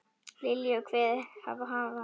Lilju kveðið hafa.